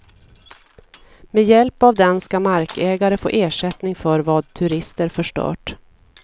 Med hjälp av den ska markägare få ersättning för vad turister förstört.